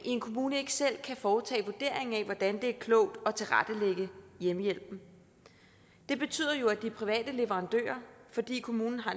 en kommune ikke selv kan foretage vurderingen af hvordan det er klogt at tilrettelægge hjemmehjælpen det betyder jo at de private leverandører fordi kommunen har